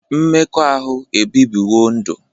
Mmekọahụ ebibiwo ndụ.